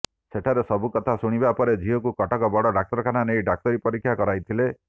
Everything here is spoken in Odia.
ସେଠାରେ ସବୁ କଥା ଶୁଣିବା ପରେ ଝିଅକୁ କଟକ ବଡ଼ ଡାକ୍ତରଖାନା ନେଇ ଡାକ୍ତରୀ ପରୀକ୍ଷା କରାଇଥିଲେ